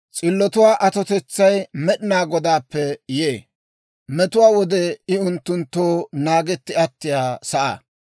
S'illotuwaa atotetsay Med'inaa Godaappe yee; metuwaa wode I unttunttoo naagetti attiyaa sa'aa.